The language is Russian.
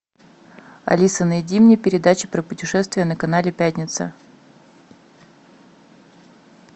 алиса найди мне передачу про путешествия на канале пятница